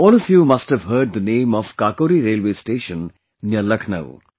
All of you must have heard the name of Kakori Railway Station near Lucknow